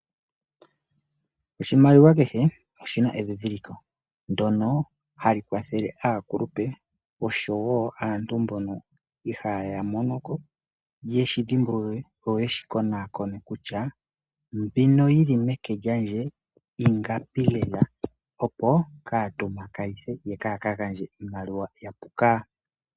Oshimaliwa kehe oshina endhindhiliko ndyono hali kwathele aakulupe oshowo aantu mbono ihaya monoko. Ye shi dhimbulule yoye shi konakone kutya mbino yili meke lyandje ingapi lela opo kaya tompaka nithe yo kaya ka gandje iimaliwa yapuka.